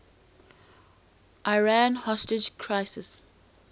iran hostage crisis